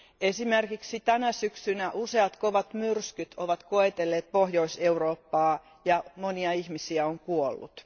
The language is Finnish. Esimerkiksi tänä syksynä useat kovat myrskyt ovat koetelleet Pohjois Eurooppaa ja monia ihmisiä on kuollut.